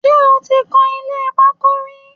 Ṣé o ti kan ilé pákó rí?